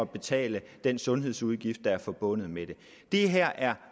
betale den sundhedsudgift der er forbundet med det det her er